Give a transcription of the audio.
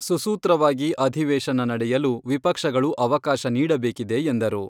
ಸೂಸೂತ್ರವಾಗಿ ಅಧಿವೇಶನ ನಡೆಯಲು ವಿಪಕ್ಷಗಳು ಅವಕಾಶ ನೀಡಬೇಕಿದೆ ಎಂದರು.